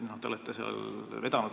Teie olete seda vedanud.